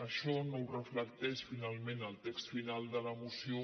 això no ho reflecteix finalment el text final de la moció